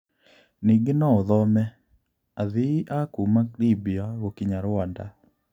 Ningĩ no ũthome: Athii a kuuma Libya gũkinya Rwanda.